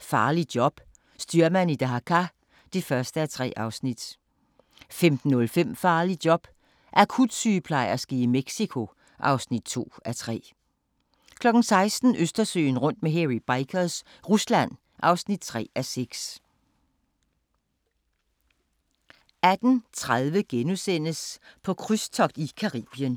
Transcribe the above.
Farligt job – styrmand i Dhaka (1:3)* 15:05: Farligt job – akutsygeplejerske i Mexico (2:3) 16:00: Østersøen rundt med Hairy Bikers – Rusland (3:6) 18:30: På krydstogt i Caribien *